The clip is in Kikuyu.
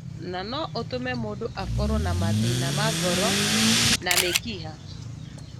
na no ũtũme mũndũ akorũo na mathĩna ma ngoro na mĩkiha.